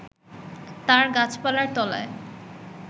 তার গাছপালার তলায়